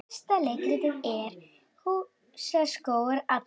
Næsta leiktíð?